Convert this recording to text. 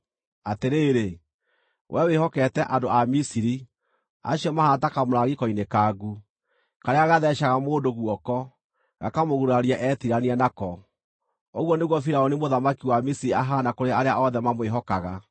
Atĩrĩrĩ, wee wĩhokete andũ a Misiri, acio mahaana ta kamũrangi koinĩkangu, karĩa gatheecaga mũndũ guoko, gakamũguraria etiirania nako! Ũguo nĩguo Firaũni mũthamaki wa Misiri ahaana kũrĩ arĩa othe mamwĩhokaga.